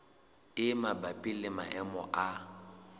e mabapi le maemo a